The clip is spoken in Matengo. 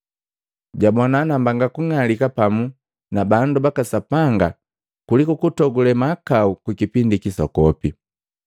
Jabona nambanga kung'alika pamu na bandu baka Sapanga kuliku kutogule mahakau ku kipindi kisokopi.